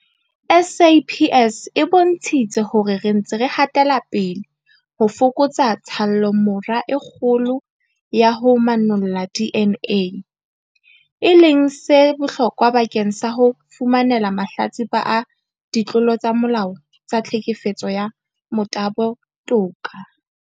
SAPS e bontshitse hore re ntse re hatela pele ho fokotsa tshallomora e kgolo ya ho manolla DNA, e leng se bohlokwa bakeng sa ho fumanela mahlatsipa a ditlolo tsa molao tsa tlhekefetso ya motabo toka.